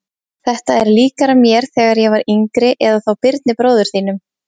Þetta er líkara mér þegar ég var yngri eða þá Birni bróður þínum.